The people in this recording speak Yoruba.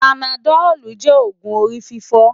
Párásitámòlú jé ógùn órififò